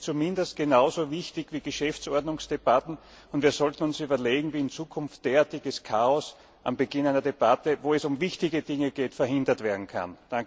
Ich denke, das ist zumindest genauso wichtig wie Geschäftsordnungsdebatten. Wir sollten uns überlegen, wie in Zukunft derartiges Chaos am Beginn einer Debatte, wo es um wichtige Dinge geht, verhindert werden kann.